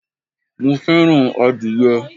mo fẹràn adìye